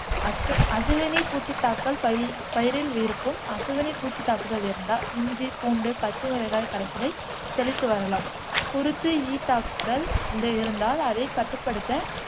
அசுவினி பூச்சி தாக்கல் பயிரில் இருக்கும் அசுவினை பூச்சி தாக்குதல் இருந்தால் இஞ்சி பூண்டு பச்சை மிளகாய் கரைசலை தெளித்துவரலாம் குருத்து ஈ தாக்குதல் இருந்தால் அதை கட்டுப்படுத்த